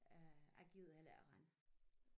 Øh jeg gider heller ikke at rende